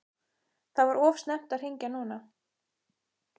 Það var of snemmt að hringja núna.